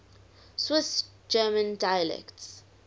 swiss german dialects